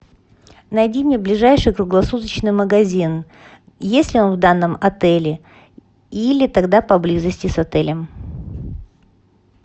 найди мне ближайший круглосуточный магазин есть ли он в данном отеле или тогда поблизости с отелем